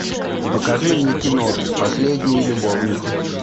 покажи мне кино последние любовники